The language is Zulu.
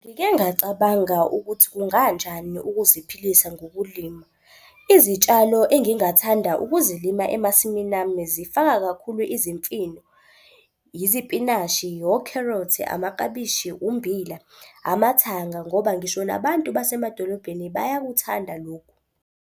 Ngike ngacabanga ukuthi kunganjani ukuziphilisa ngokulima. Izitshalo engingathanda ukuzilima emasimini ami zifaka kakhulu izimfino, yizipinashi, wokherothi, amaklabishi, umbila, amathanga, ngoba ngisho nabantu basemadolobheni bayakuthanda lokhu.